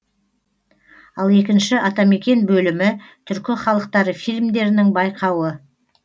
ал екінші атамекен бөлімі түркі халықтары фильмдерінің байқауы